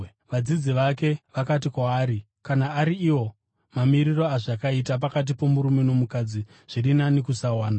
Vadzidzi vake vakati kwaari, “Kana ari iwo mamiriro azvakaita pakati pomurume nomukadzi, zviri nani kusawana.”